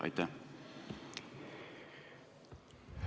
Aitäh!